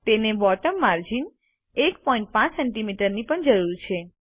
તેને bottom margin 15 cms ની પણ જરૂર છે